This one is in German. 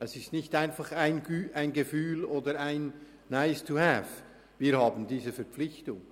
Das ist nicht einfach ein Gefühl oder ein «Nice-to-have», sondern wir haben diese Verpflichtung.